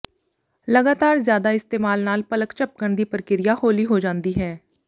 ਲਗਾਤਾਰ ਜ਼ਿਆਦਾ ਇਸਤੇਮਾਲ ਨਾਲ ਪਲਕ ਝਪਕਣ ਦੀ ਪ੍ਰਕਿਰਿਆ ਹੌਲੀ ਹੋ ਜਾਂਦੀ ਹੈ